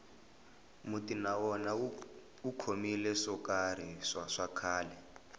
muti na wona wu khomile swo karhi swa khale